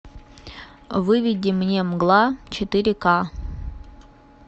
выведи мне мгла четыре ка